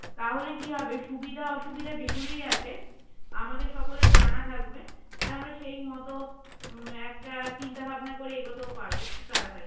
তাহলে কি হবে সুবিধা-অসুবিধা যেগুলোই আছে, আমাদের সকলের জানা থাকবে আর আমরা সেই মতো একটা চিন্তা-ভাবনা করে এগোতেও পারবো খুব তাড়াতাড়ি